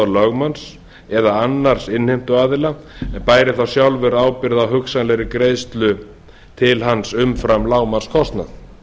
lögmanns eða annars innheimtuaðila en bæri þá sjálfur ábyrgð á hugsanlegri greiðslu til hans umfram lágmarkskostnað